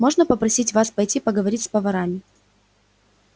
можно попросить вас пойти поговорить с поварами